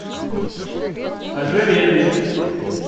ожерелья